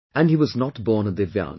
And, he was not born a DIVYANG